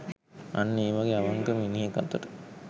අන්න ඒ වගේ අවංක මිනිහෙක් අතට